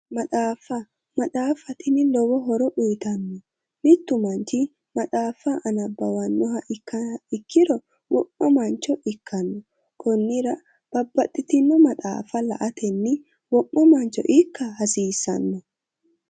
Maxaafa maxaafa tini lowo horo uyiitanno mittu manchi maxaafa nabbawannoha ikkiha ikkiro wo'ma mancho ikkanno konnira babbaxitino maxaafa la'atenni wo'ma mancho ikka hasiissanno.